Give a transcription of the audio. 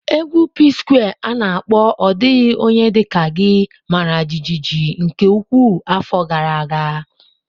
Égwù PSquare's ana akpo 'Ọ Dịghị Onye Dị Ka Gị' mara jijiji nke ukwuu afọ gara aga.